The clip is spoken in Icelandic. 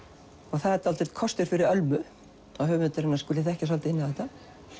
það er dálítill kostur fyrir Ölmu að höfundur hennar skuli þekkja svolítið inn á þetta